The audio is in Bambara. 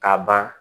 Ka ban